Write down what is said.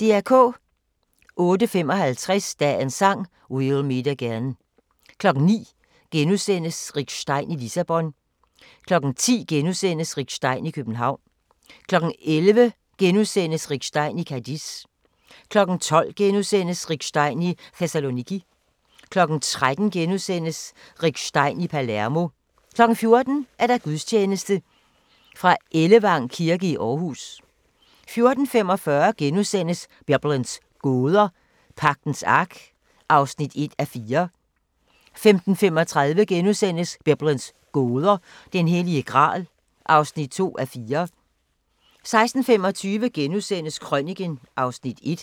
08:55: Dagens Sang: We'll meet again 09:00: Rick Stein i Lissabon * 10:00: Rick Stein i København * 11:00: Rick Stein i Cadiz * 12:00: Rick Stein i Thessaloniki * 13:00: Rick Stein i Palermo * 14:00: Gudstjeneste Ellevang kirke i Aarhus 14:45: Biblens gåder – Pagtens Ark (1:4)* 15:35: Biblens gåder – Den Hellige Gral (2:4)* 16:25: Krøniken (Afs. 1)*